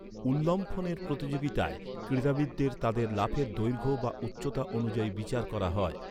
উল্লম্ফনের প্রতিযোগিতায় ক্রীড়াবিদদের তাদের লাফের দৈর্ঘ্য বা উচ্চতা অনুযায়ী বিচার করা হয়।